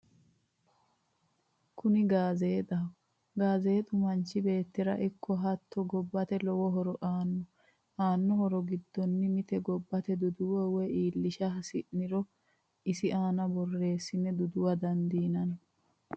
Kunni gaazzexxaho, gaazzeexxu manchi beetira ikko hatto gobbatte lowo horo aano, aanno horo gidono mite gobate duduwa woyi iillisha hasinonire isi aana borreesine duduwa dandinanni